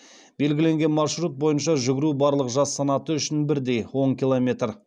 белгіленген маршрут бойынша жүгіру барлық жас санаты үшін бірдей он километр